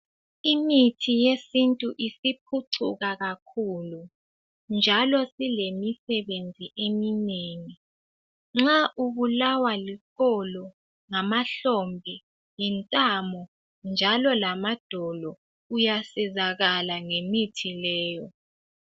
Imithi yesintu isiphucuka kakhulu njalo silemi sebenzi iminengi ,nxa ubulawa liqolo, ngamahlombe njalo ngamadolo uyasizakala ngemithi leyo.